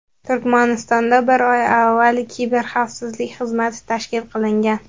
Turkmanistonda bir oy avval Kiberxavfsizlik xizmati tashkil qilingan.